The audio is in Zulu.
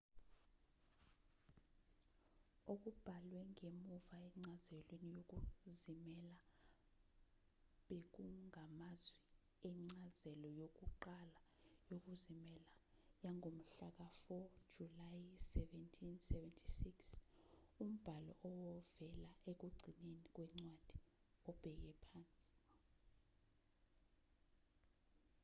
okubhalwe ngemuva encazelweni yokuzimela bekungamazwi encazelo yokuqala yokuzimela yangomhlaka-4 julayi 1776 umbhalo ovela ekugcineni kwencwadi obheke phansi